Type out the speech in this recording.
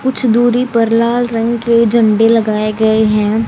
कुछ दूरी पर लाल रंग के झंडे लगाए गए हैं।